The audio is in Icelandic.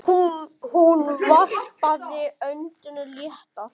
Hún varpaði öndinni léttar.